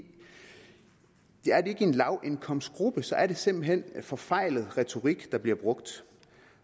lavindkomstgruppen så er det simpelt hen en forfejlet retorik der bliver brugt